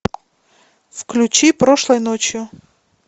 включи прошлой ночью